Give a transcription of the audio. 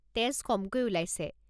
তেজ কমকৈ ওলাইছে।